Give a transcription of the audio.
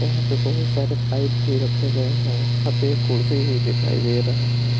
यहां पे बहुत सारे पाइप भी रखे गए हैं यहां पे एक कुर्सी भी दिखाई दे रहा है।